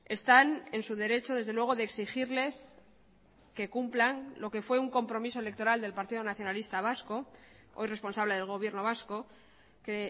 están en su derecho desde luego de exigirles que cumplan lo que fue un compromiso electoral del partido nacionalista vasco hoy responsable del gobierno vasco que